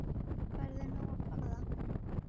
Færðu nóg að borða?